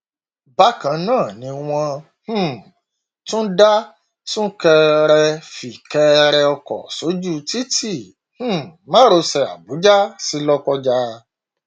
bákan náà ni wọn um tún dá súnkẹrẹfìkẹrẹ ọkọ sójú títí um márosẹ àbújá sí lọkọjá